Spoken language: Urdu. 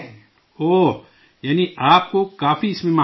اوہ... یعنی آپ کو کافی اس میں مہارت آ گئی ہے